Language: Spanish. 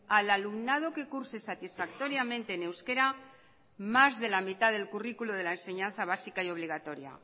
al alumnado que curse satisfactoriamente en euskera más de la mitad del currículo de la enseñanza básica y obligatoria